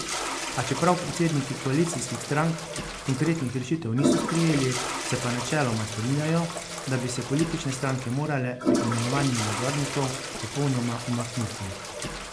A čeprav predsedniki koalicijskih strank konkretnih rešitev niso sprejeli, se pa načeloma strinjajo, da bi se politične stranke morale pri imenovanju nadzornikov popolnoma umakniti.